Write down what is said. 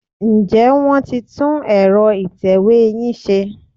Ǹjẹ́ wọ́n ti tún ẹ̀rọ ìtẹ̀wé yín ṣe?